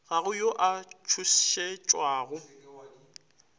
ga go yo a tšhošetšwago